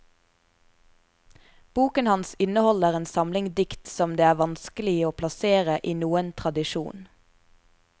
Boken hans inneholder en samling dikt som det er vanskelig å plassere i noen tradisjon.